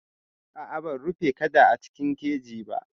A'a ban rufe kada a cikin keji ba.